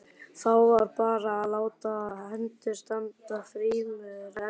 Þá var bara að láta hendur standa frammúr ermum.